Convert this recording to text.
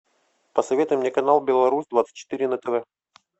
посоветуй мне канал беларусь двадцать четыре на тв